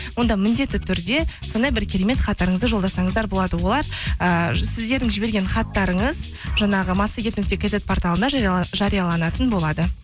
онда міндетті түрде сондай бір керемет хаттарыңызды жолдасаңыздар болады олар ыыы сіздердің жіберген хаттарыңыз жаңағы массагет нүкте кизет порталында жарияланатын болады